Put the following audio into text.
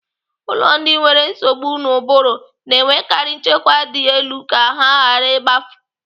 Ụlọ ndị nwere nsogbu n'ubụrụ na-enwekari nchekwa dị elu ka ha ghara igbafu.